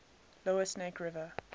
lower snake river